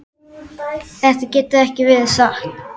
Þetta getur ekki verið satt.